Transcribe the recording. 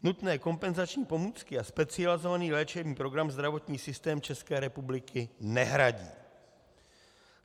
Nutné kompenzační pomůcky a specializovaný léčebný program zdravotní systém České republiky nehradí.